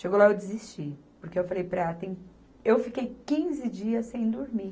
Chegou lá, eu desisti, porque eu falei para ela, tem, eu fiquei quinze dias sem dormir.